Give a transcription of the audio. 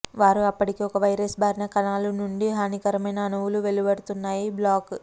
వారు అప్పటికే ఒక వైరస్ బారిన కణాలు నుండి హానికరమైన అణువులు వెలువడుతున్నాయి బ్లాక్